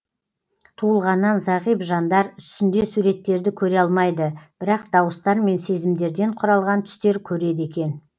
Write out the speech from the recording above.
туылғаннан зағип жандар түсінде суреттерді көре алмайды бірақ дауыстармен сезімдерден құралған түстер көреді екен